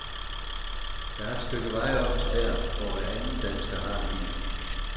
Der er et stykke vej op til der, hvor hveranden dansker har en bil.